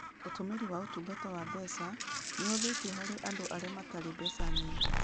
Ũtumiri wa ũtungata wa mbeca nĩ ũhũthĩtio harĩ andũ arĩa matarĩ mbeca nyingĩ.